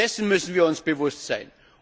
Dessen müssen wir uns bewusst sein!